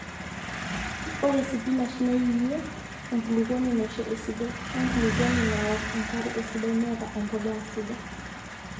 ore sipinash neyie enkulukuoni naisho esidai, wenkulukuoni naok enkarre esidai neeta empolea sidai